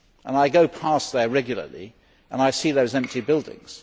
I go past there regularly and I see the empty buildings.